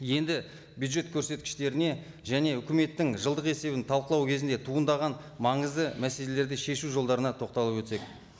енді бюджет көрсеткіштеріне және үкіметтің жылдық есебін талқылау кезінде туындаған маңызды мәселелерді шешу жолдарына тоқталып өтсек